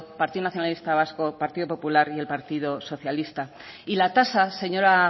partido nacionalista vasco partido popular y el partido socialista y la tasa señora